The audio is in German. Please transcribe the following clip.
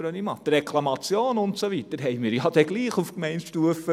Die Reklamationen, und so weiter, haben wir trotzdem auf Gemeindestufe.